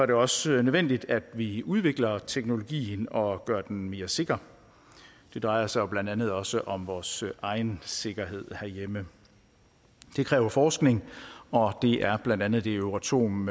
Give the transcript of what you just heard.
det også nødvendigt at vi udvikler teknologien og gør den mere sikker det drejer sig jo blandt andet også om vores egen sikkerhed herhjemme det kræver forskning og det er blandt andet det euratom